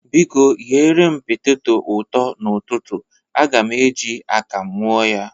Biko, ghere m peteto ụtọ n'ụtụtụ. Aga m e ji akamụ ñụ ya.